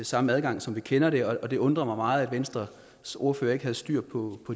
samme adgang som vi kender og det undrer mig meget at venstres ordfører ikke havde styr på